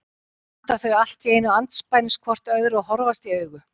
Svo standa þau allt í einu andspænis hvort öðru og horfast í augu.